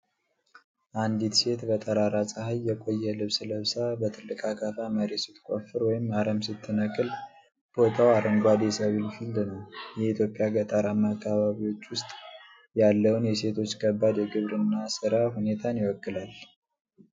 አንዲት ሴት በጠራራ ፀሐይ፣ የቆየ ልብስ ለብሳ ፣ በትልቅ አካፋ መሬት ስትቆፍር ወይም አረም ስትነቅል ቦታው አረንጓዴ የሰብል ፊልድ ነው። የኢትዮጵያ ገጠራማ አካባቢዎች ውስጥ ያለውን የሴቶች ከባድ የግብርና (ሥራ) ሁኔታን ይወክላል?